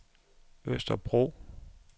Østerbro